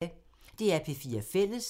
DR P4 Fælles